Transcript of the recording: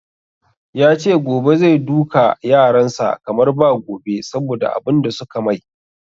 Yace gobe zai duka yaran sa kamar ba gobe saboda abun da suka mai